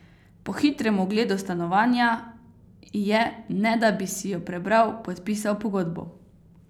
Po hitrem ogledu stanovanja je, ne da bi si jo prebral, podpisal pogodbo.